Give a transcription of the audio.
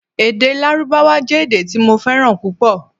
Èdè Lárúbáwá jẹ́ èdè tí mo fẹ́ràn púpọ̀